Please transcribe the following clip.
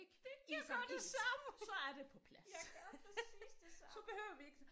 Det jeg gør det samme jeg gør præcis det samme